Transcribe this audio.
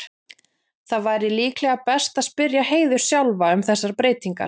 Það væri líklega best að spyrja Heiðu sjálfa um þessar breytingar.